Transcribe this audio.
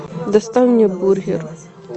доставь мне бургер